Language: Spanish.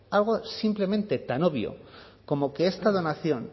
algo simplemente tan obvio como que esta donación